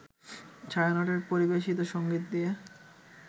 ছায়ানটের পরিবেশিত সঙ্গীত দিয়ে